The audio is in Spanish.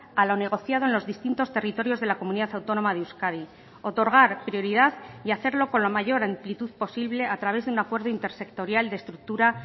a lo negociado en los distintos territorios de la comunidad autónoma de euskadi otorgar prioridad y hacerlo con la mayor amplitud posible a través de un acuerdo intersectorial de estructura